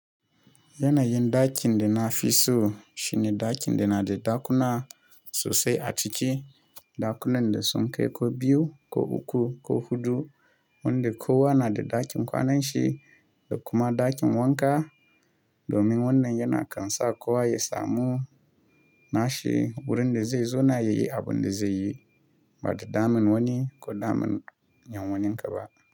Yanayin ɗakin da na fi so shine ɗakin da na da ɗakuna sosai a ciki, ɗakunan da sun kai ko biyu ko uku ko huɗu, wanda kowa na da ɗakin kwanan shi da kuma ɗakin wanka, domin wannan yana kan sa kowa ya samu nashi wurin da zai zauna ya yi abun da zai yi ba da damun wani ko damun ƴan wanin kaba.